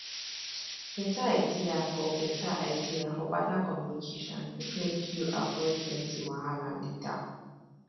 beta idea for beta idea for partner communication fit make you avoid plenty wahala later